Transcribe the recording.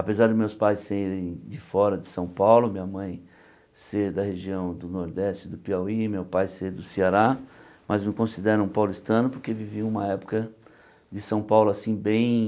Apesar de meus pais serem de fora de São Paulo, minha mãe ser da região do Nordeste do Piauí, meu pai ser do Ceará, mas me consideram paulistano porque vivi uma época de São Paulo assim bem...